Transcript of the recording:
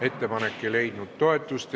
Ettepanek ei leidnud toetust.